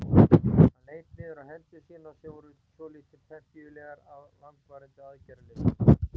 Hann leit niður á hendur sínar sem voru svolítið pempíulegar af langvarandi aðgerðarleysi.